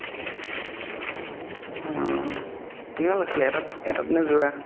অ কিমান লইছিলে এটাত এটাত নে জোৰা